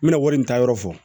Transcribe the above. N bɛna wari in ta yɔrɔ fɔ